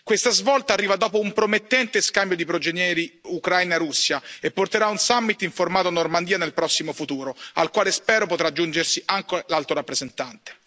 Questa svolta arriva dopo un promettente scambio di prigionieri Ucraina Russia e porterà a un summit del formato Normandia nel prossimo futuro, al quale spero potrà aggiungersi anche l'Alto rappresentante.